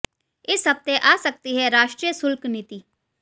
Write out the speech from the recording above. इस हफ्ते आ सकती है राष्ट्रीय शुल्क नीति